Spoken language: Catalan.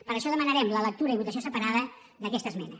per això demanarem la lectura i votació separada d’aquesta esmena